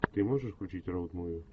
ты можешь включить роуд муви